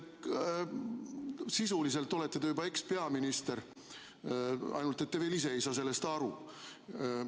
Sisuliselt olete te juba ekspeaminister, ainult et te ise ei saa sellest veel aru.